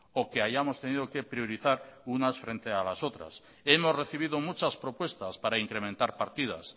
o que hayamos tenido que priorizar unas frente a las otras hemos recibido muchas propuestas para incrementar partidas